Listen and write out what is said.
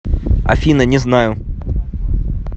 афина не знаю